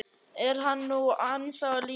Er hann nú ennþá á lífi?